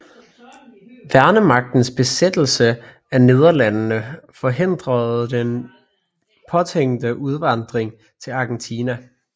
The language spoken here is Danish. Værnemagtens besættelse af Nederlandene forhindrede den påtænkte udvandring til Argentina